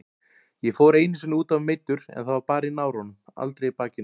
Ég fór einu sinni útaf meiddur en það var bara í náranum, aldrei í bakinu.